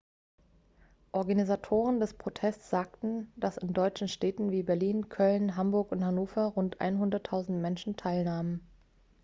organisatoren des protests sagten dass in deutschen städten wie berlin köln hamburg und hannover rund 100.000 menschen teilnahmen